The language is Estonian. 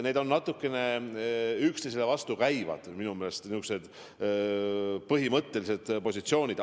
Need on natukene üksteisele vastukäivad põhimõttelised positsioonid.